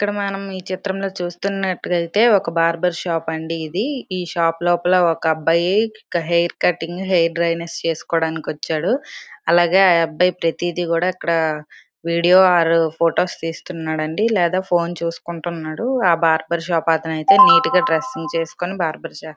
ఇక్కడ మనం ఈ చిత్రంలో చూస్తున్నట్టయితే ఒక బార్డర్ షాప్ అండి ఇది. ఈ షాప్ లోపల ఒక అబ్బాయి హెయిర్ కటింగ్ హెయిర్ డ్రైనేస్ చేసుకోవడానికి వచ్చాడు. అలాగే అబ్బాయి ప్రతిదీ కూడా ఇక్కడ వీడియో ఆర్ ఫొటోస్ తీస్తున్నాడు అండి. లేదా ఫోన్ చూసుకుంటున్నాడు ఆ బార్బర్ షాప్ అతను అయితే నీట్ గా డ్రెస్సింగ్ చేసుకొని బార్బర్ చే--